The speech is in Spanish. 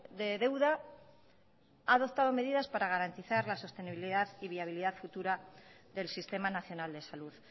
de deuda ha adoptado medidas para garantizar la sostenibilidad y viabilidad futura del sistema nacional de salud